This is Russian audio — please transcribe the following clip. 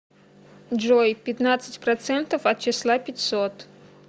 джой пятнадцать процентов от числа пятьсот